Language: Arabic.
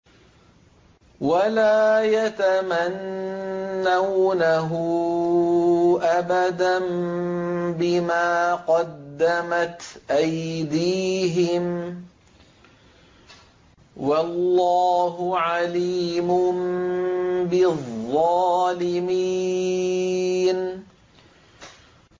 وَلَا يَتَمَنَّوْنَهُ أَبَدًا بِمَا قَدَّمَتْ أَيْدِيهِمْ ۚ وَاللَّهُ عَلِيمٌ بِالظَّالِمِينَ